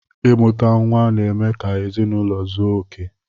Imuta nwa n'eme ka ezinụlọ zuo okè.